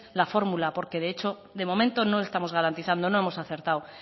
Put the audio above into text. la fórmula porque de hecho de momento no estamos garantizando no hemos acertado